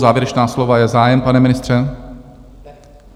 Závěrečná slova - je zájem, pane ministře?